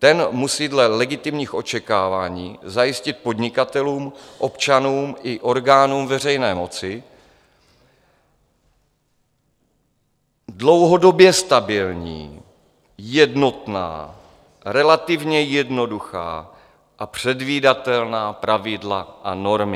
Ten musí dle legitimních očekávání zajistit podnikatelům, občanům i orgánům veřejné moci dlouhodobě stabilní, jednotná, relativně jednoduchá a předvídatelná pravidla a normy.